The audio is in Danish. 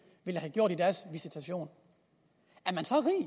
ville have gjort i deres visitation